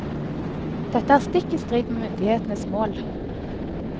Dette er stikk i strid med myndighetenes mål.